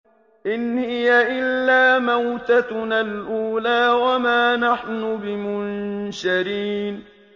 إِنْ هِيَ إِلَّا مَوْتَتُنَا الْأُولَىٰ وَمَا نَحْنُ بِمُنشَرِينَ